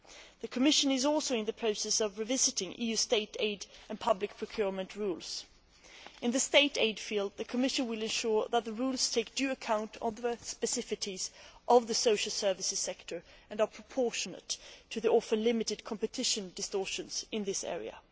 The Commission is also in the process of revisiting EU state aid and public procurement rules. In the state aid field, the Commission will ensure that the rules take due account of the specificities of the social services sector and are proportionate to the often limited competition distortions in this area.